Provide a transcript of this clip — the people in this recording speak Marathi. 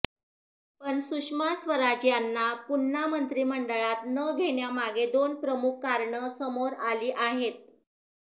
पण सुषमा स्वराज यांना पुन्हा मंत्रिमंडळात न घेण्यामागे दोन प्रमुख कारणं समोर आली आहेत